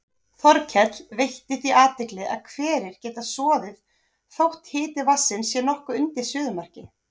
Þorkell veitti því athygli að hverir geta soðið þótt hiti vatnsins sé nokkuð undir suðumarki.